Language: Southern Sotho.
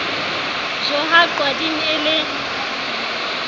jo ha qwading e le